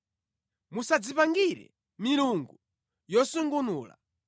“Musadzipangire milungu yosungunula.